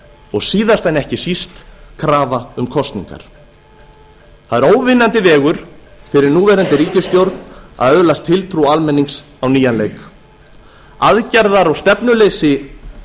og síðast en ekki síst krafa um kosningar það er óvinnandi vegur fyrir núverandi ríkisstjórn að öðlast tiltrú almennings á nýjan leik aðgerða og stefnuleysi